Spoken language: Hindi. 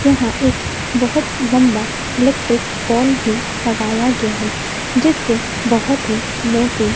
यहां एक बहोत लंबा इलेक्ट्रिक पोल भी लगाया गया है जिससे बहोत ही मोटी--